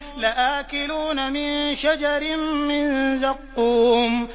لَآكِلُونَ مِن شَجَرٍ مِّن زَقُّومٍ